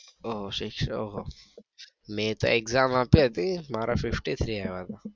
ઓહોહો ઓહોહો મેં તો exam આપી હતી મારા ફિફ્ટી થ્રી આવ્યા હતા.